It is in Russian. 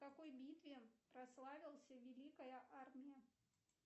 в какой битве прославился великая армия